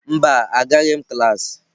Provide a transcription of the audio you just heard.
Mba, Agaghị m klas.